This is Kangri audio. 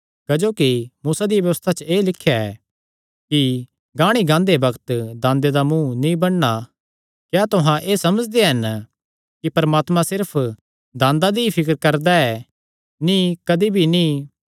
क्जोकि मूसा दिया व्यबस्था च एह़ लिख्या ऐ कि गाणी गांदे बग्त दांदे दा मुँ नीं बन्नणा क्या तुहां एह़ समझदे हन कि परमात्मा सिर्फ दांदा दी ई फिकर करदा ऐ नीं कदी भी नीं